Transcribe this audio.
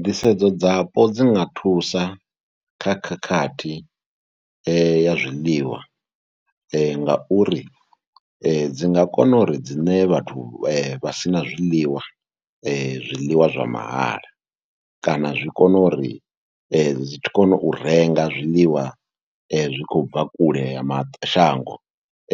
Nḓisedzo dzapo dzi nga thusa kha khakhathi ya zwiḽiwa ngauri dzi nga kona uri dzi ṋee vhathu vha si na zwiḽiwa, zwiḽiwa zwa mahala kana zwi kone uri zwi kone u renga zwiḽiwa zwi khou bva kule ha mashango